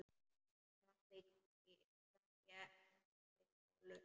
Frammi í gangi geltir Kolur.